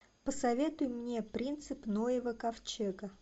посоветуй мне принцип ноева ковчега